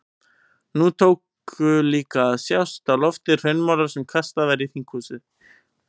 Nú tóku líka að sjást á lofti hraunmolar sem kastað var í þinghúsið.